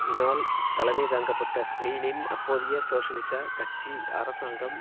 இனால் தலமைதாங்கப்பட்ட ஸ்பெயினின் அப்போதய சோசியலிச கட்சி அரசாங்கம்